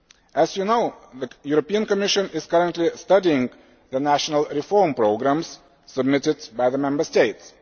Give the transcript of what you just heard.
As you know, the Commission is currently studying the national reform programmes submitted by the Member States.